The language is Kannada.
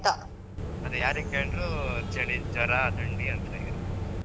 ಅದೆ ಯಾರಿಗ್ ಕೇಂಡ್ರೂ ಚಳಿ, ಜ್ವರ, ಥಂಡಿ ಅಂತ್ಲೆ ಹೇಳ್ತ್ರು.